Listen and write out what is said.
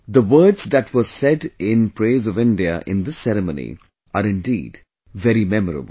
The words that were said in praise of India in this ceremony are indeed very memorable